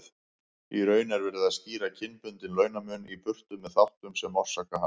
Í raun er verið að skýra kynbundinn launamun í burtu með þáttum sem orsaka hann.